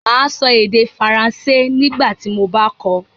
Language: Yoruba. Màá sọ èdè Faransé nígbà tí mo bá kọ́ ọ